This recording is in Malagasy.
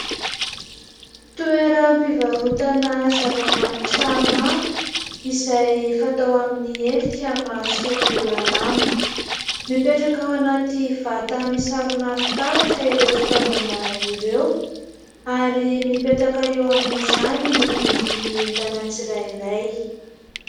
Toeram-pivarotana zavamanitra maro izay fatao amin'ny helika mahasolo alamo. Mipetraka ao anaty vata misarona fitaratra ireo fitaovana ireo ary mipetraka eo amin'izany ny vidiny entana tsirairay.